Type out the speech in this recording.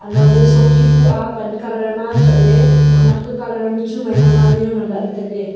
anaoley sokhi bu aa pan colour ma chatle naknak ka colour ma chu maima ma le yao nganla ley tailey.